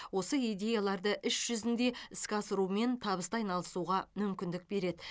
осы идеяларды іс жүзінде іске асырумен табысты айналысуға мүмкіндік береді